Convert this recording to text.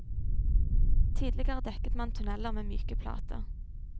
Tidligere dekket man tunneler med myke plater.